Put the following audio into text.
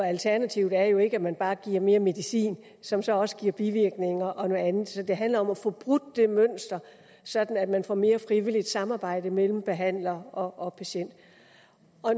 alternativ er jo ikke at man bare giver mere medicin som så også giver bivirkninger og andet så det handler om at få brudt det mønster sådan at man får mere frivilligt samarbejde mellem behandler og patient